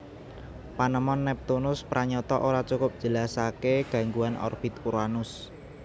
Panemon Neptunus pranyata ora cukup njelasaké gangguan orbit Uranus